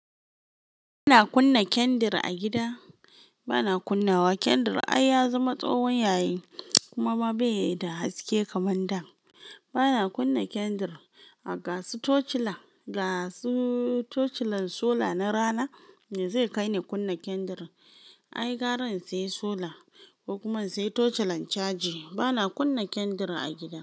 Ba na kunna kendir a gida. Ba na kunnawa kendir, ai ya zama tsowon yayi kumama bai da haske kaman da. Ba na kunna kendir, a gasu tochilan, gasu tochilan sola na rana, me zai kai ni kunna kendir? Ai gara sai sola. Kokuma in sai tochilan caji. Ba na kunna kendir a gida.